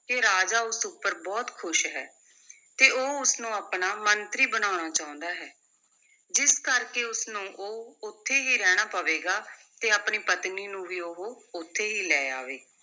ਕਿ ਰਾਜਾ ਉਸ ਉੱਪਰ ਬਹੁਤ ਖੁਸ਼ ਹੈ ਤੇ ਉਹ ਉਸ ਨੂੰ ਆਪਣਾ ਮੰਤਰੀ ਬਣਾਉਣਾ ਚਾਹੁੰਦਾ ਹੈ, ਜਿਸ ਕਰਕੇ ਉਸ ਨੂੰ ਉਹ ਉੱਥੇ ਹੀ ਰਹਿਣਾ ਪਵੇਗਾ ਤੇ ਆਪਣੀ ਪਤਨੀ ਨੂੰ ਵੀ ਉਹ ਉੱਥੇ ਹੀ ਲੈ ਆਵੇ।